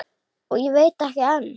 Og veit ekki enn!